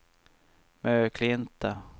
Möklinta